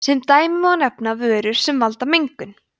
sem dæmi má nefna vörur sem valda mengun